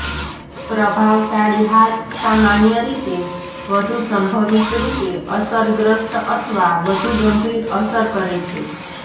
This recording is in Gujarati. પ્રભાવશાળી હાથ સામાન્ય રીતે વધુ સંભવિત રૂપે અસરગ્રસ્ત અથવા વધુ ગંભીર અસર કરે છે